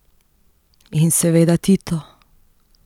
In seveda Tito.